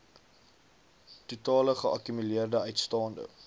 totale geakkumuleerde uitstaande